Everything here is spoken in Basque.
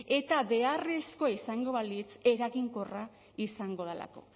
eta beharrezkoa izango balitz eraginkorra izango delako